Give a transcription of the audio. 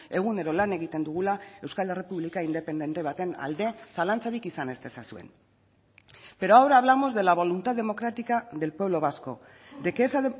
egunero lan egiten dugula euskal errepublika independente baten alde zalantzarik izan ez dezazuen pero ahora hablamos de la voluntad democrática del pueblo vasco de que esa